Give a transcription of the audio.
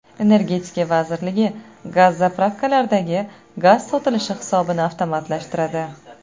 Energetika vazirligi gaz-zapravkalardagi gaz sotilishi hisobini avtomatlashtiradi.